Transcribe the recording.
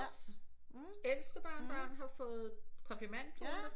Så vores ældste barnebarn har fået konfirmationskjoler